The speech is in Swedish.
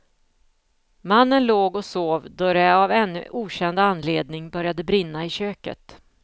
Mannen låg och sov då det av ännu okänd anledning började brinna i köket.